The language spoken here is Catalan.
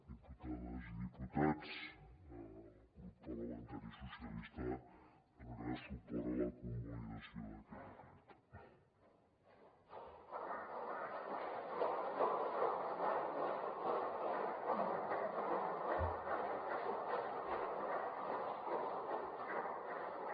diputades i diputats el grup parlamentari socialistes donarà suport a la convalidació d’aquest decret